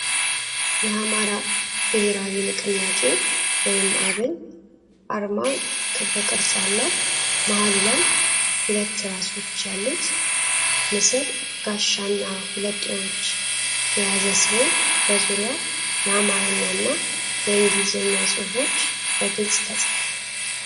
የአማራ ብሔራዊ ንቅናቄ (አብን) አርማ ክብ ቅርጽ አለው። መሃሉ ላይ ሁለት ራሶች ያሉት ንስር ጋሻና ሁለት ጦሮች የያዘ ሲሆን፣ በዙሪያው የአማርኛና የእንግሊዝኛ ፅሁፎች በግልጽ ተፅፈዋል።